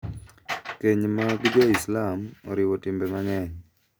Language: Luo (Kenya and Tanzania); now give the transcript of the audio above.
KenY mag Jo-Islam oriwo timbe mang’eny,